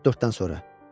Məncə saat 4-dən sonra.